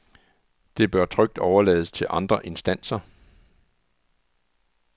Det bør trygt overlades til andre instanser.